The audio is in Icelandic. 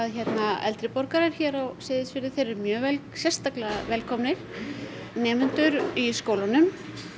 eldri borgarar hér á Seyðisfirði þeir eru sérstaklega velkomnir nemendur í skólunum